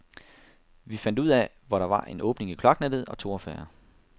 Vi fandt ud af, hvor der var en åbning i kloaknettet og tog affære.